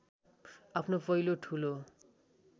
आफ्नो पहिलो ठूलो